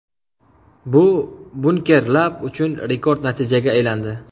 Bu Bunker Lab uchun rekord natijaga aylandi.